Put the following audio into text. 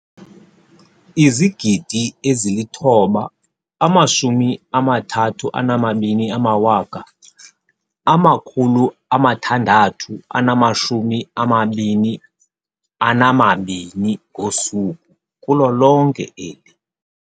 9 032 622 ngosuku kulo lonke eli.